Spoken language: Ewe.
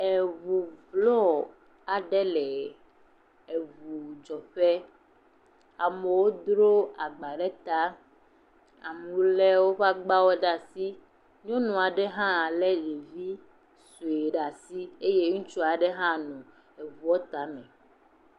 Eʋu blɔ aɖe le eʋu dzɔƒe. Amewo dro agba ɖe ta. Amewo le woƒe agbawo ɖe asi. Nyɔnu aɖe hã le ɖevi sue ɖe asi eye ŋutsu aɖe hã le eʋua tame.